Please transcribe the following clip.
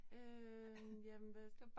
Øh jamen hvad